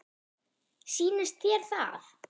Sýnist þér það?